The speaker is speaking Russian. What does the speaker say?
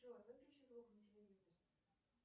джой выключи звук на телевизоре